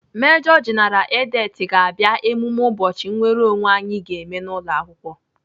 Mejo jeneral Edet ga-abịa emume ụbọchị nnwereonwe anyị ga-eme n'ụlọakwụkwọ.